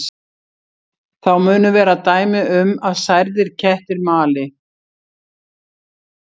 Þá munu vera dæmi um að særðir kettir mali.